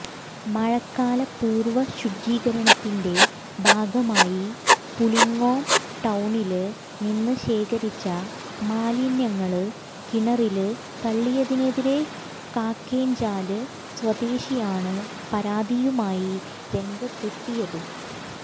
മഴക്കാലപൂര്വ്വ ശുചീകരണത്തിന്റെ ഭാഗമായി പുളിങ്ങോം ടൌണില് നിന്ന് ശേഖരിച്ച മാലിന്യങ്ങള് കിണറില് തള്ളിയതിനെതിരെ കാക്കേഞ്ചാല് സ്വദേശിയാണ് പരാതിയുമായി രംഗത്തെത്തിയത്